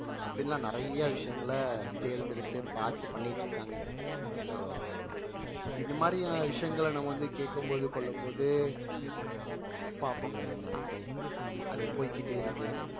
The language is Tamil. அப்படியெல்லாம் நிறைய விஷயங்கள தேர்ந்தெடுத்து பார்த்து பண்ணிட்டு இருக்காங்க so இந்த மாதிரியான விஷயங்கள நம்ம வந்து கேட்கும்போது கொள்ளும் போது பாப்போங்க என்னான்ட்டு அது போய்க்கிட்டே இருக்கு